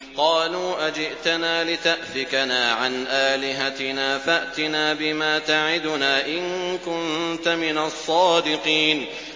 قَالُوا أَجِئْتَنَا لِتَأْفِكَنَا عَنْ آلِهَتِنَا فَأْتِنَا بِمَا تَعِدُنَا إِن كُنتَ مِنَ الصَّادِقِينَ